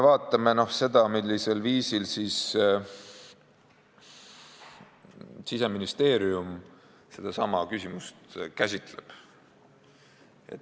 Vaatame, millisel viisil Siseministeerium sedasama küsimust käsitleb.